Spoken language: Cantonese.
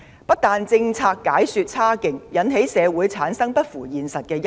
一方面，政府解說政策差勁，引起社會產生不符現實的憂慮。